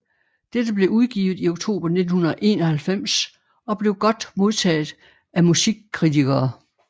Det blev udgivet i oktober 1991 og blev godt modtaget af musikkritikere